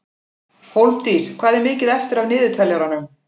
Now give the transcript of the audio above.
Hólmdís, hvað er mikið eftir af niðurteljaranum?